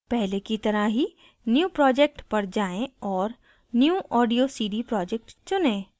पहले की तरह ही new project पर जाएँ और new audio cd project चुनें